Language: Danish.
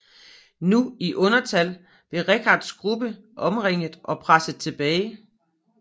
Nu i undertal blev Richards gruppe omringet og presset tilbage